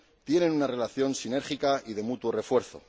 tienen una relación sinérgica y de mutuo refuerzo.